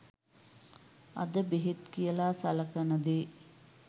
අද බෙහෙත් කියල සලකන දේ